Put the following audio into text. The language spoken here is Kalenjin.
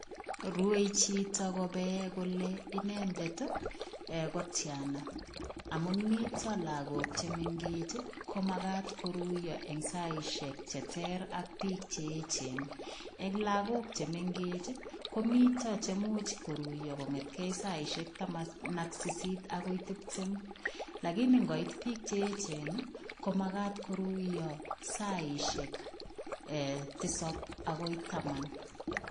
Rue chito kopee kole inendet ii um ko tiana, amun mito lagok che mengech ii komakat koruiyo eng saisiek che ter ak piik che eechen, eng lagok che mengech ii, komito chemuch koruiyo kongetkei saisiek taman ak sisit akoi tiptem, lakini ngoit piik che eechen ii, komakat koruiyo saisiek um tisap akoi taman.